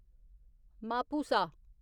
Mapusa